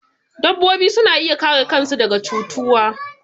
Dabbobi suna iya kare kan su daga cutuwa